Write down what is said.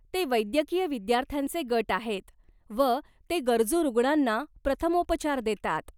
ते वैद्यकीय विद्यार्थ्यांचे गट आहेत व ते गरजू रुग्णांना प्रथमोपचार देतात.